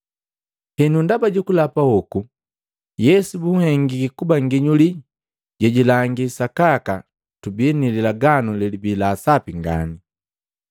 Henu ndaba jukulapa hoku, Yesu bunhengiki kuba nginyuli jejilangi sakaka tubii ni lilaganu lelibii la sapi ngani.